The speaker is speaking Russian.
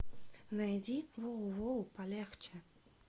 найди воу воу палехчэ